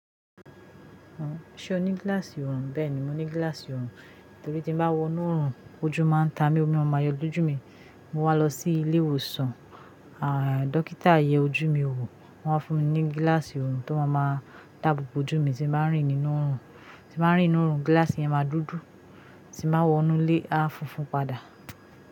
Ṣé o ní gíláàsì ọ̀rùn? Bẹ́ẹ̀ ni, mo ní gíláàsì ọ̀rùn, torí tí mo bá wọ inú ọ̀rùn ojú máa ń ta mi, omi a má máa yọ l'ojú mi. Mo wá lọ sí ilé ìwòsàn, dọ́kítà yẹ ojú mi wò, wọ́n fún mi ní gíláàsì ọ̀rùn tó máa máa dáàbò bo ojú mi tí ń báa ń rìn nínú ọ̀rùn, tí máa ń rìn nínú ọ̀rùn gíláàsì yẹn máa dúdú, tí màá wọ inú ilé a funfun padà.